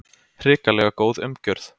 Hrikalega góð umgjörð